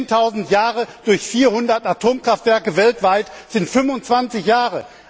Zehntausend Jahre durch 400 Atomkraftwerke weltweit sind 25 Jahre.